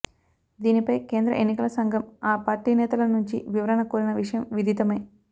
దీనిపై కేంద్ర ఎన్నికల సంఘం ఆ పార్టీ నేతల నుంచి వివరణ కోరిన విషయం విదితమే